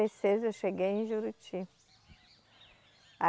e seis eu cheguei em Juruti.